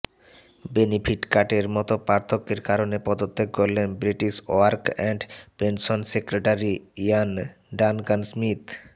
benefit কাটের মত পার্থক্যের কারণে পদত্যাগ করলেন British work and pension secretary Ian Duncan Smith